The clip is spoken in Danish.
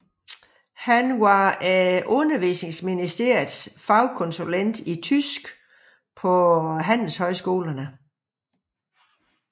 Han var Undervisningsministeriets fagkonsulent i tysk på handelshøjskolerne